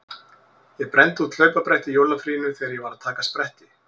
Ég brenndi út hlaupabretti í jólafríinu þegar ég var að taka spretti.